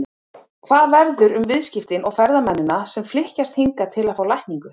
Hvað verður um viðskiptin og ferðamennina sem flykkjast hingað til að fá lækningu?